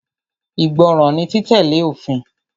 Ìgbọràn ni títẹ̀lé òfin.